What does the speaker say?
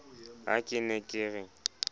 ha ke ne ke re